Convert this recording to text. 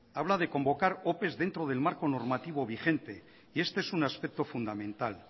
habla de convocar opes dentro del marco normativo vigente y este es un aspecto fundamental